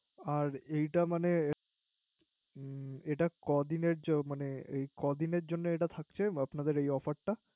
ও এটা মানে এটা কদিনে মানে ক দিনে জন্য থাকছে আপনাদের এ Offier টা